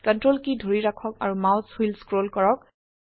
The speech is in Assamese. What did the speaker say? CTRL কী ধৰি ৰাখক আৰু মাউস হুইল স্ক্ৰল কৰক